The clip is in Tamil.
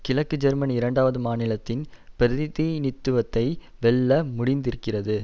கிழக்கு ஜெர்மன் இரண்டாவது மாநிலத்தின் பிரதிநிதித்துவத்தை வெல்ல முடிந்திருக்கிறது